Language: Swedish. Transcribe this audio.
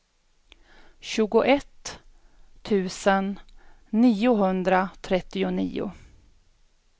tjugoett tusen niohundratrettionio